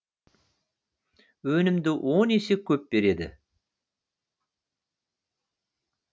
өнімді он есе көп береді